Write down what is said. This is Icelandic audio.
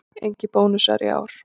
Engir bónusar í ár